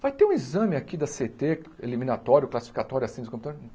Vai ter um exame aqui da Cê ê Tê, eliminatório, classificatório, assim,